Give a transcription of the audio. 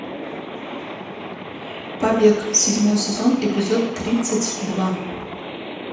побег седьмой сезон эпизод тридцать два